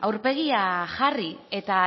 aurpegia jarri eta